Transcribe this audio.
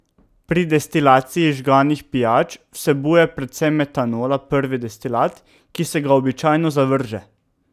Pri destilaciji žganih pijač vsebuje precej metanola prvi destilat, ki se ga običajno zavrže.